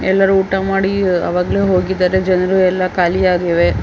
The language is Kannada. ಎಲ್ಲರೂ ಊಟ ಮಾಡಿ ಆವಾಗಲೇ ಹೋಗಿದ್ದಾರೆ ಜನರು ಎಲ್ಲ ಖಾಲಿಯಾಗಿವೆ .